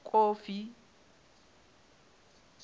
kofi